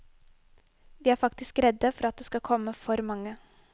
Vi er faktisk redde for at det skal komme for mange.